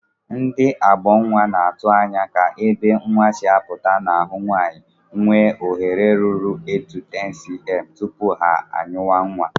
Ndị ọghọnnwa na-atụ anya ka ebe nnwa si apụta n'ahụ nwaanyị ghee oghere ruru 8-10cm tupu ha anyịwa nnwa